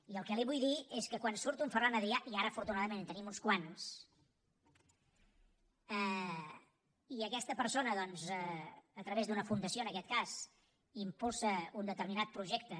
i el que li vull dir és que quan surt un ferran adrià i ara afortunadament en tenim uns quants i aquesta persona a través d’una fundació en aquest cas impulsa un determinat projecte